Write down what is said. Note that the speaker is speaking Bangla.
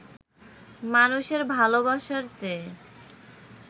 মানুষের ভালোবাসার চেয়ে